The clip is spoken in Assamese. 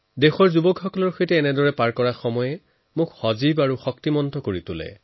দেশৰ যুৱসম্প্ৰদায়ৰ মাজত থাকিবলৈ পালে মনটো সতেজ আৰু উজ্জীৱিত যেন বোধ হয়